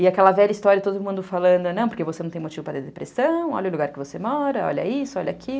E aquela velha história, todo mundo falando, porque você não tem motivo para ter depressão, olha o lugar que você mora, olha isso, olha aquilo.